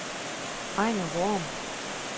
Ejnar Worm